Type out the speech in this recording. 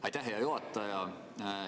Aitäh, hea juhataja!